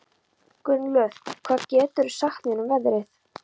Gunnlöð, hvað geturðu sagt mér um veðrið?